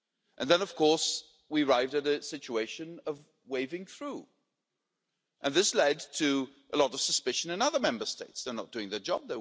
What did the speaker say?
And then of course, we arrived at a situation of waving through, and this led to a lot of suspicion in other Member States they're not doing their job